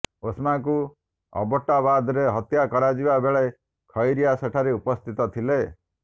ଓସାମାକୁ ଅବୋଟ୍ଟାବାଦରେ ହତ୍ୟା କରାଯିବା ବେଳେ ଖାଇରିଆ ସେଠାରେ ଉପସ୍ଥିତ ଥିଲେ